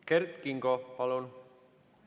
Kert Kingo, palun!